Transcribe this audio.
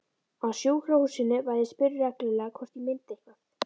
Á sjúkrahúsinu var ég spurð reglulega hvort ég myndi eitthvað.